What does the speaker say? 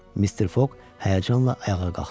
Mr. Fog həyəcanla ayağa qalxdı.